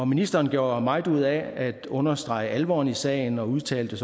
ministeren gjorde meget ud af at understrege alvoren i sagen og udtalte